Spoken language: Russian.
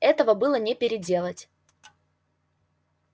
этого было не переделать